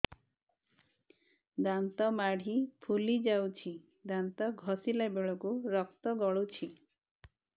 ଦାନ୍ତ ମାଢ଼ୀ ଫୁଲି ଯାଉଛି ଦାନ୍ତ ଘଷିଲା ବେଳକୁ ରକ୍ତ ଗଳୁଛି